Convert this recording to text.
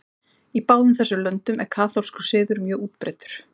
Í báðum þessum löndum er kaþólskur siður mjög útbreiddur.